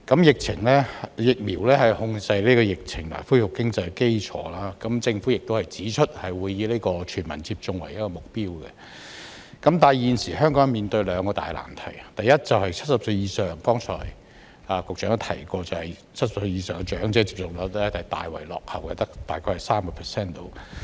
疫苗是控制疫情和恢復經濟的基礎，政府也指出，會以全民接種為目標，但現時香港面對兩個大難題，第一，正如局長剛才也提到 ，70 歲以上長者的接種率大為落後，只有大約 30%。